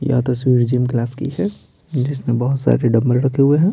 यह तस्वीर जिम ज़ क्लास की है जिसमें बहुत सारे डंबल रखे हुए हैं।